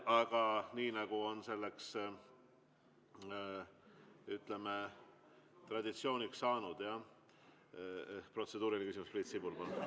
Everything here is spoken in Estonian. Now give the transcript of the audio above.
Aga nii, nagu on selleks, ütleme, traditsiooniks saanud, jah, protseduuriline küsimus, Priit Sibul, palun!